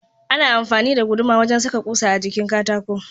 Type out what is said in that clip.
Ana amfani da goduma wajan saka kusa a jikin katako.